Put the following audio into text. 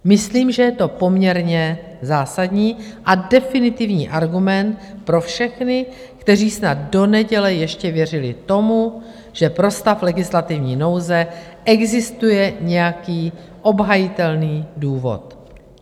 Myslím, že je to poměrně zásadní a definitivní argument pro všechny, kteří snad do neděle ještě věřili tomu, že pro stav legislativní nouze existuje nějaký obhajitelný důvod.